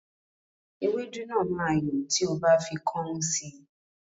Ewédú náà máa yọ́ tí o bá fi kọ́ún sí